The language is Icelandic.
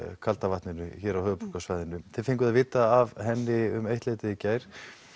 kalda vatninu hér á höfuðborgarsvæðinu þið fenguð að vita af henni um eitt leytið í gær